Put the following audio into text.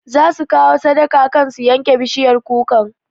Za su biya sadaka kan su yanke bishiyar kukan